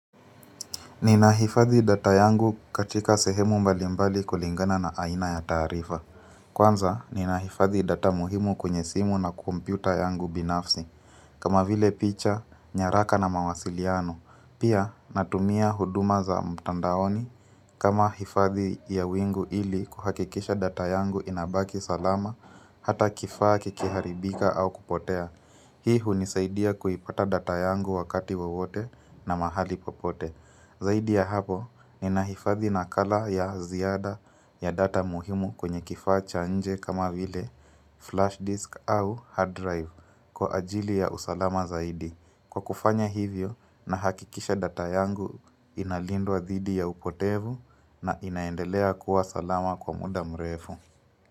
Ninahifadhi data yangu katika sehemu mbalimbali kulingana na aina ya taarifa. Kwanza, ninahifadhi data muhimu kwenye simu na kompyuta yangu binafsi. Kama vile picha, nyaraka na mawasiliano. Pia, natumia huduma za mtandaoni. Kama hifadhi ya wingu ili kuhakikisha data yangu inabaki salama, hata kifaa kikiharibika au kupotea. Hii hunisaidia kuipata data yangu wakati wowote na mahali popote. Zaidi ya hapo, inahifathi na color ya ziada ya data muhimu kwenye kifacha cha nje kama vile flashdisk au hard drive kwa ajili ya usalama zaidi. Kwa kufanya hivyo, nahakikisha data yangu, inalindwa zidi ya upotevu na inaendelea kuwa salama kwa muda mrefu.